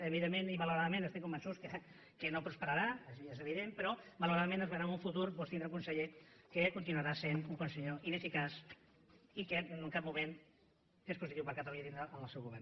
evidentment i malauradament estem convençuts que no prosperarà això ja és evident però malauradament es veurà en un futur doncs tindre un conseller que continuarà sent un conseller ineficaç i que en cap moment és positiu per a catalunya tenirlo en el seu govern